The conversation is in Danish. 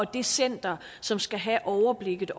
det center som skal have overblikket